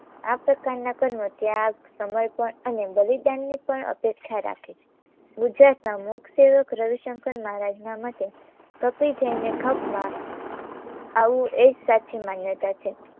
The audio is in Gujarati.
આ પ્રકારના કર્મ, ત્યાગ સમર્પણ અને બલિદાનની પણ અપેક્ષા રાખે છે. ગુજરાતના મૂકસેવક રવીશંકર મહારાજના મતે કપી જઈને ખપમાં આવું એક સાચી માન્યતા છે